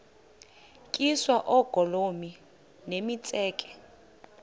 tyiswa oogolomi nemitseke